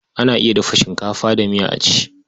Ana iya dafa shinkafa da miya a ci.